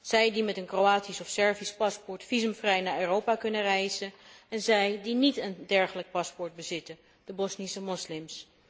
Zij die met een Kroatisch of Servisch paspoort visumvrij naar Europa kunnen reizen, en zij die niet een dergelijk paspoort bezitten de Bosnische moslims.